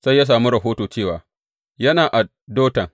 Sai ya sami rahoto cewa, Yana a Dotan.